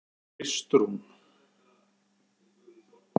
Kristrún